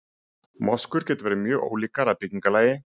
moskur geta verið mjög ólíkar að byggingarlagi